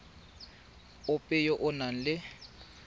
ope yo o nang le